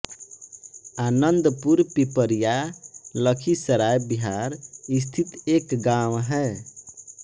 आनंदपुर पिपरिया लखीसराय बिहार स्थित एक गाँव है